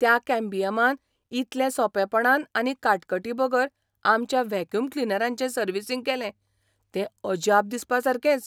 त्या कॅम्बियमान इतले सोंपेपणान आनी काटकटीबगर आमच्या व्हॅक्युम क्लिनराचें सर्व्हिसिंग केलें तें अजाप दिसपासारकेंच .